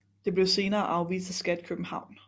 Det blev senere afvist af Skat København